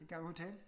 Gammel hotel